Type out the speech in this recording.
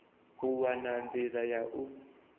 u wana nḓila ya u